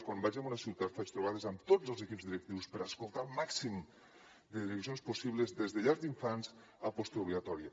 quan vaig a una ciutat faig trobades amb tots els equips directius per escoltar el màxim de direccions possibles des de llars d’infants a postobligatòria